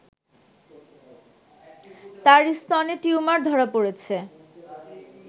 তার স্তনে টিউমার ধরা পড়েছে